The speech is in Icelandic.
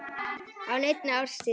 á neinni árstíð.